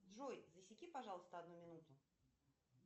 джой засеки пожалуйста одну минуту